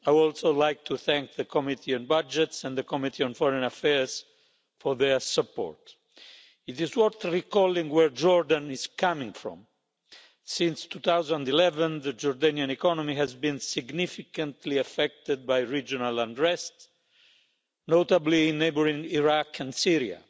I would also like to thank the Committee on Budgets and the Committee on Foreign Affairs for their support. It is worth recalling where Jordan is coming from. Since 2011 the Jordanian economy has been significantly affected by regional unrest, notably in neighbouring Iraq and Syria,